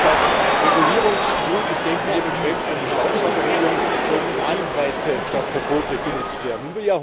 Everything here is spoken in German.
Statt Regulierungswut ich denke hier mit Schrecken an die Staubsaugerregelung sollten Anreize statt Verboten genutzt werden.